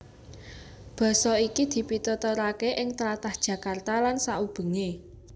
Basa iki dipituturaké ing tlatah Jakarta lan saubengé